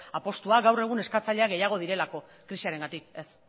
apustua gaur egun eskatzaile gehiago direlako krisiarengatik ez